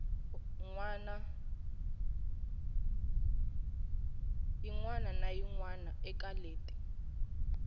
wana na yin wana eka